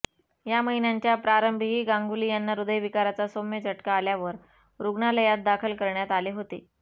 या महिन्याच्या प्रारंभीही गांगुली यांना हृदयविकारचा सौम्य झटका आल्यावर रुग्णालयात दाखल करण्यात आले होते